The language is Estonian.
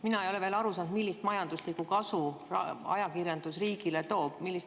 Mina ei ole veel aru saanud, millist majanduslikku kasu, rahalist kasu ajakirjandus riigile toob.